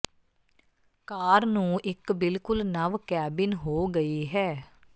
ਕਾਰ ਨੂੰ ਇੱਕ ਬਿਲਕੁਲ ਨਵ ਕੈਬਿਨ ਹੋ ਗਈ ਹੈ